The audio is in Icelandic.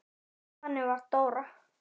Þannig var Dóra.